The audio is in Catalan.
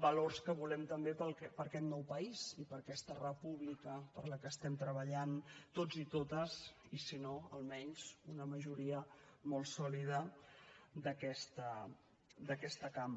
valors que volem també per a aquest nou país i per a aquesta república per la qual estem treballant tots i totes i si no almenys una majoria molt sòlida d’aquesta cambra